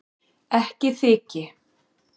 Ekki þyki